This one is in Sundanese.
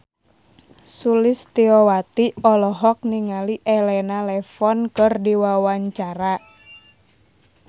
Sulistyowati olohok ningali Elena Levon keur diwawancara